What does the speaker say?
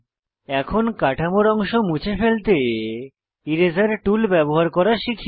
এখন কাঠামোর অংশ মুছে ফেলতে এরাসের টুল ব্যবহার করা শিখি